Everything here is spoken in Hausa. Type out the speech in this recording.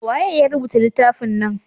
waye ya rubuta littafin nan?